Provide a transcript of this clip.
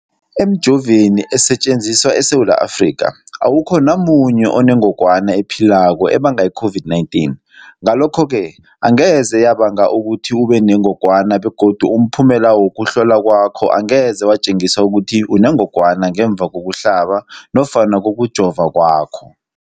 Emijoveni esetjenziswa eSewula Afrika, awukho namunye onengog wana ephilako ebanga i-COVID-19. Ngalokho-ke angeze yabanga ukuthi ubenengogwana begodu umphumela wokuhlolwan kwakho angeze watjengisa ukuthi unengogwana ngemva kokuhlaba nofana kokujova kwakho.